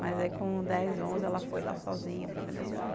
Mas aí, com dez, onze, ela foi lá sozinha para Venezuela.